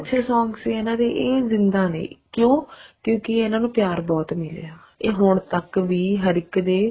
ਅੱਛੇ song ਸੀ ਇਹਨਾ ਦੇ ਇਹ ਜਿੰਦਾਂ ਨੇ ਕਿਉਂ ਕਿਉਂਕਿ ਇਹਨਾ ਨੂੰ ਪਿਆਰ ਬਹੁਤ ਮਿਲਿਆ ਇਹ ਹੁਣ ਤੱਕ ਵੀ ਹਰ ਇੱਕ ਦੇ